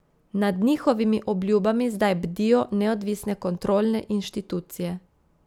Nad njihovimi obljubami zdaj bdijo neodvisne kontrolne inštitucije.